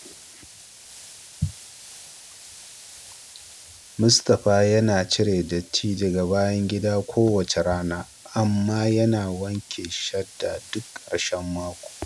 Mustapha yana cire datti daga bayan gida kowace rana, amma yana wanke shadda duk karshen mako.